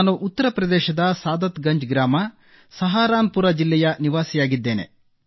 ನಾನು ಉತ್ತರಪ್ರದೇಶದ ಸಾದತ್ಗಂಜ್ ಗ್ರಾಮ ಸಹಾರನ್ಪುರ್ ಜಿಲ್ಲೆಯ ನಿವಾಸಿಯಾಗಿದ್ದೇನೆ